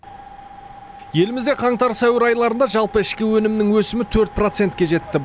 елімізде қаңтар сәуір айларында жалпы ішкі өнімнің өсімі төрт процентке жетті